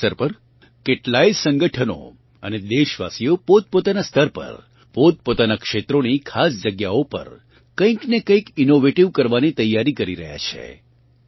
આ અવસર પર કેટલાય સંગઠનો અને દેશવાસીઓ પોતપોતાનાં સ્તર પર પોતપોતાનાં ક્ષેત્રોની ખાસ જગ્યાઓ પર કંઇક ને કંઇક ઇનોવેટીવ કરવાની તૈયારી કરી રહ્યાં છે